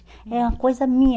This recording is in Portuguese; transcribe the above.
É uma coisa minha.